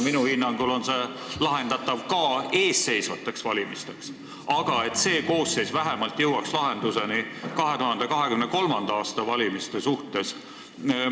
Minu hinnangul on see lahendatav ka eesseisvate valimiste ajaks, aga see koosseis võiks vähemalt jõuda lahendusele 2023. aasta valimiste suhtes.